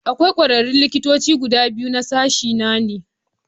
Akwai kwararrun likitoci guda biyu Ni sashena ne.